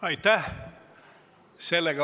Aitäh!